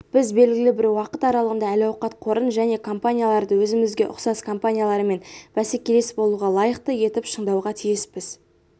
біз белгілі бір уақыт аралығында әл-ауқат қорын және компанияларды өзімізге ұқсас компаниялармен бәсекелес болуға лайықты етіп шыңдауға тиіспіз